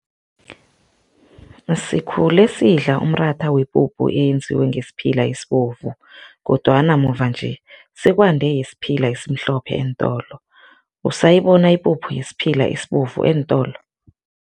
Sikhule sidla umratha wepuphu eyenziwe ngesiphila esibovu kodwana, muva-nje sekwande yesiphila esimhlophe eentolo, usayibona ipuphu yesiphila esibovu eentolo?